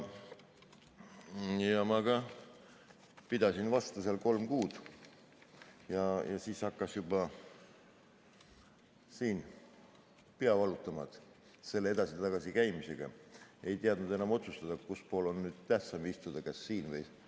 Ma pidasin vastu kolm kuud ja siis hakkas juba siin pea valutama selle edasi-tagasi käimisega, ei osanud enam otsustada, kus pool on tähtsam istuda, kas siin või seal.